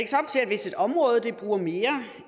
hvis et område bruger mere